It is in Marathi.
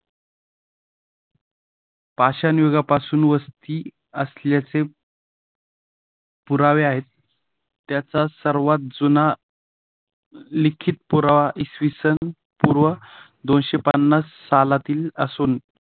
पाषाण युगापासून वस्ती असल्याचे पुरावे आहेत त्याचा सर्वात जुना लिखित पुरावा इसवी सन पूर्व दोनशे पन्नास सालातील असून